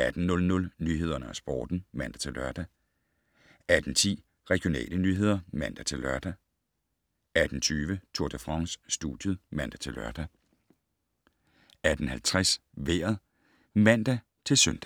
18:00: Nyhederne og Sporten (man-lør) 18:10: Regionale nyheder (man-lør) 18:20: Tour de France: Studiet (man-lør) 18:50: Vejret (man-søn)